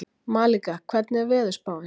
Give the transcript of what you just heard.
Malika, hvernig er veðurspáin?